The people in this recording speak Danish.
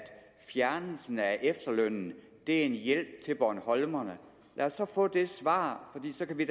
fjernelsen af efterlønnen er en hjælp til bornholmerne lad os få det svar fordi så kan vi